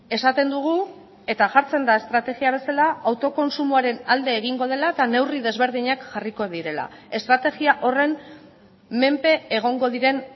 esaten dugu eta jartzen da estrategia bezala autokontsumoaren alde egingo dela eta neurri desberdinak jarriko direla estrategia horren menpe egongo diren